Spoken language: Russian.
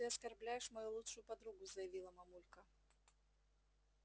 ты оскорбляешь мою лучшую подругу заявила мамулька